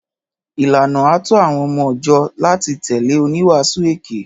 Ìlàná àtọ àwon ọmọ jọ làtí tẹlẹ òníwàsú èké.